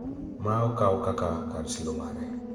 ma okaw kaka kar siro mare,